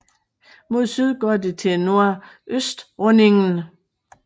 Mod syd går det til Nordøstrundingen